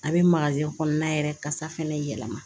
A bɛ kɔnɔna yɛrɛ kasa fɛnɛ yɛlɛma